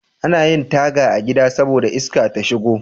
Anayin Taga a gida saboda iska ta shigo